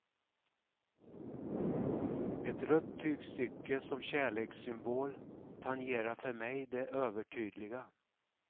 Ett rött tygstycke som kärlekssymbol tangerar för mig det övertydliga.